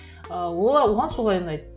ыыы оған солай ұнайды